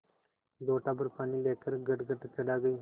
लोटाभर पानी लेकर गटगट चढ़ा गई